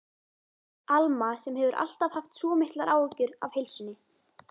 Alma sem hefur alltaf haft svo miklar áhyggjur af heilsunni.